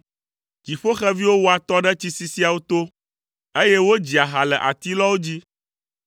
Dziƒoxeviwo wɔa atɔ ɖe tsisisiawo to, eye wodzia ha le atilɔwo dzi.